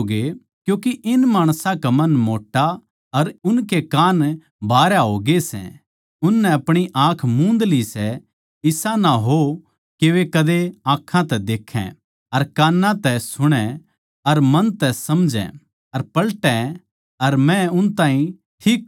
क्यूँके इन माणसां का मन मोट्टा अर उनके कान भारया हो गये सै अर उननै अपणी आँख मूंद ली सै इसा ना हो के वे कदे आँखां तै देखै अर कान्ना तै सुणै अर मन तै समझै अर पलटै अर मै उन ताहीं ठीक करूँ